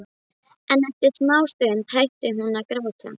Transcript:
En eftir smástund hætti hún að gráta.